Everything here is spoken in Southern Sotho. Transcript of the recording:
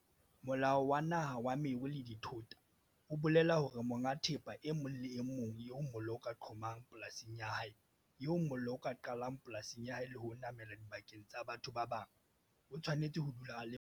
Molao wa Naha wa Meru le Dithota o bolela hore monga thepa e mong le e mong eo mollo o ka qhomang polasing ya hae, eo mollo o ka qalang polasing ya hae le ho namela dibakeng tsa batho ba bang, o tshwanetse ho dula a le malala-a-laotswe ka nako tsohle.